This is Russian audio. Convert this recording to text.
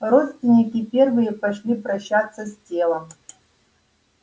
родственники первые пошли прощаться с телом